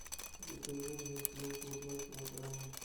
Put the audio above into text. закажи мне свеклу два килограмма